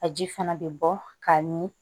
A ji fana bɛ bɔ ka mi